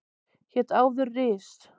Hét áður Ris